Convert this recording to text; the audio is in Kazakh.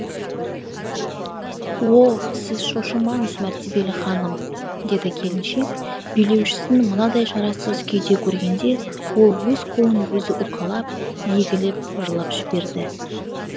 о сіз шошымаңыз мәртебелі ханым деді келіншек билеушісін мынадай шарасыз күйде көргенде ол өз қолын өзі уқалап егіліп жылап жіберді